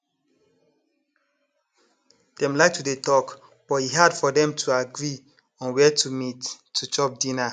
dem like to dey talk but e hard for dem to agree on where to meet to chop dinner